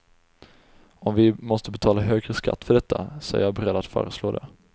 Om vi måste betala högre skatt för detta, så är jag beredd att föreslå det.